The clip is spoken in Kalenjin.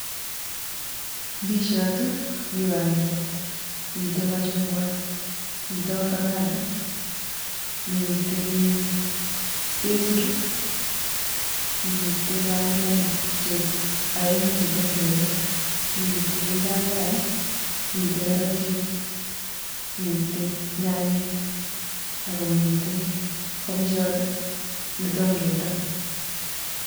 Ndisiot, miwat, mitei machungwat. Miteii ovacado, mitei chesiru, mtei bandiat oenyu chetom kebel, mitei paipai mitei karatik, mitei nyanyek akomitei kobichot netom keton